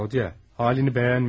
Rodiya, halını bəyənmirəm.